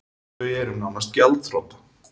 Þau eru nánast gjaldþrota